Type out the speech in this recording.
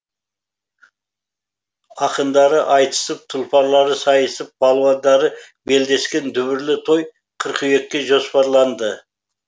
ақындары айтысып тұлпарлары сайысып палуандары белдескен дүбірлі той қыркүйекке жоспарланды